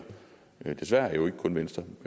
desværre jo ikke kun venstre